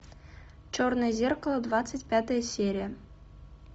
черное зеркало двадцать пятая серия